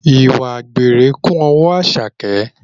Ìwà àgbèrè kún ọwọ́ Àṣàkẹ́